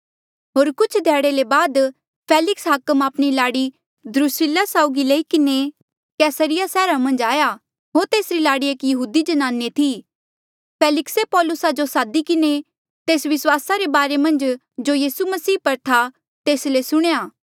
होर कुछ ध्याड़े ले बाद फेलिक्स हाकमे आपणी लाड़ी द्रुसिल्ला साउगी लेई किन्हें कैसरिया सैहरा मन्झ आया होर तेसरी लाड़ी एक यहूदी ज्नाने थी फेलिक्से पौलुसा जो सादी किन्हें तेस विस्वासा रे बारे मन्झ जो यीसू मसीह पर आ तेस ले सुणेया